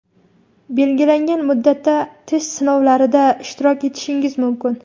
belgilangan muddatda test sinovlarida ishtirok etishingiz mumkin.